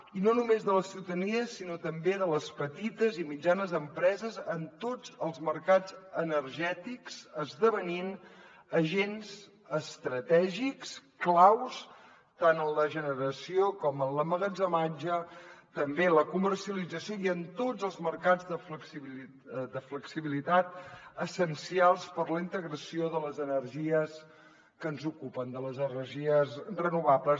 i no només de la ciutadania sinó també de les petites i mitjanes empreses en tots els mercats energètics esdevenint agents estratègics clau tant en la generació com en l’emmagatzematge també en la comercialització i en tots els mercats de flexibilitat essencials per a la integració de les energies que ens ocupen de les energies renovables